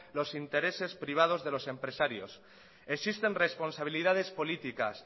los intereses privados de los empresarios existen responsabilidades políticas